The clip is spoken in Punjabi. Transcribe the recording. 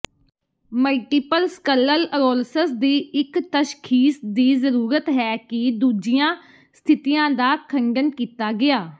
ਮਲਟੀਪਲ ਸਕਲਲਅਰੋਲਸਸ ਦੀ ਇੱਕ ਤਸ਼ਖੀਸ ਦੀ ਜ਼ਰੂਰਤ ਹੈ ਕਿ ਦੂਜੀਆਂ ਸਥਿਤੀਆਂ ਦਾ ਖੰਡਨ ਕੀਤਾ ਗਿਆ